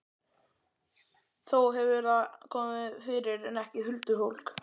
Þó hefur það komið fyrir, en ekki huldufólk.